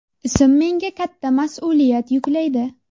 Ism menga katta mas’uliyat yuklaydi.